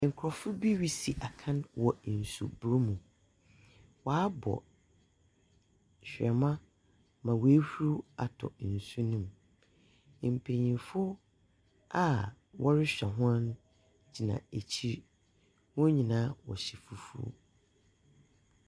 Nkorɔfo bi resi akan wɔ nsubor mu. Wɔabɔ hwerɛma ma woehuru atɔ nsu no mu. Mpenyinfo a wɔrehwɛ hɔn gyina ekyir. Wɔn nyinaa wɔhyɛ fufuw.